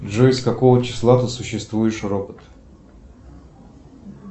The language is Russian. джой с какого числа ты существуешь робот